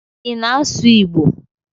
I na asụ Igbo?